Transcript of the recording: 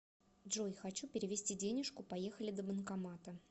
джой хочу перевести денежку поехали до банкомата